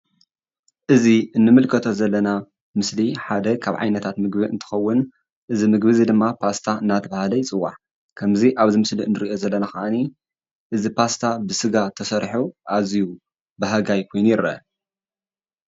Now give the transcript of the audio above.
እዚ እንምልከቶ ዘለና ምስሊ ሓደ ካብ ዓይነታት ምግቢ እንትኸውን እዚ ምግቢ እዙይ ድማ ፓስታ እናተባሃለ ይፅዋዕ። ከምዚ ኣብዚ ምስሊ እንርአዮ ዘለና ከዓኒ እዚ ፓስታ ብስጋ ተሰሪሑ ኣዝዩ በሃጋይ ኮይኑ ይረአ።